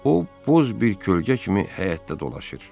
O buz bir kölgə kimi həyətdə dolaşır.